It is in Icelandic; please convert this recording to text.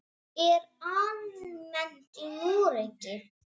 Það er almennt í Noregi.